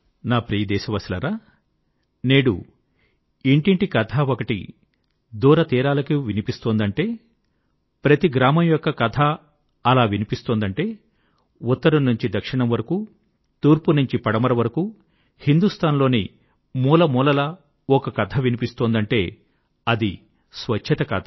నా ప్రియ దేశవాసులారా నేడు ఇంటింటి కథ ఒకటి దూర తీరాలకు వినిపిస్తుందంటే ప్రతి గ్రామం యొక్క కథ వినిపిస్తుందంటే ఉత్తరం నుంచి దక్షిణం వరకూ తూర్పు నుంచి పడమర వరకూ హిందూస్థాన్ లోని మూలమూలలా ఒక కథ వినిపిస్తుందంటే అది స్వచ్ఛత కథ